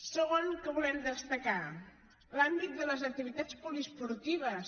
segon que volem destacar l’àmbit de les activitats poliesportives